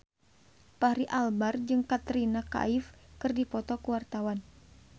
Fachri Albar jeung Katrina Kaif keur dipoto ku wartawan